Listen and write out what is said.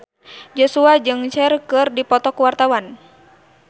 Joshua jeung Cher keur dipoto ku wartawan